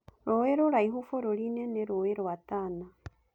Rũĩ rũraihu bũrũri-inĩ nĩ rũĩ rwa Tana.